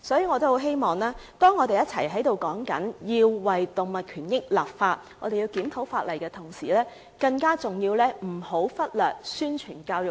我們要求為動物權益立法及檢討法例，但更重要的是不要忽略宣傳和教育。